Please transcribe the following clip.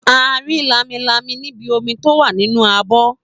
A rí lámilámi níbi omi tó wà nínú abọ́.